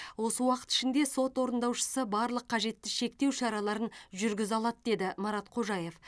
осы уақыт ішінде сот орындаушысы барлық қажетті шектеу шараларын жүргізе алады деді марат қожаев